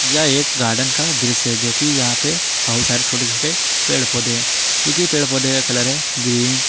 यह एक गार्डन का दृश्य जो कि यहां पर बहुत सारे छोटे छोटे पेड़ पौधे है जो कि पेड़ पौधे का कलर है ग्रीन --